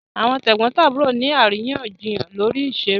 Àwọn tẹ̀gbọ́ntàbúrò ni àríyànjiyàn lórí ìṣeré